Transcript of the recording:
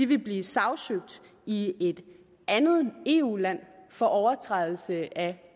vil blive sagsøgt i et andet eu land for overtrædelse af